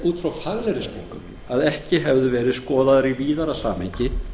út frá faglegri skoðun að ekki hefðu verið skoðaðar í víðara samhengi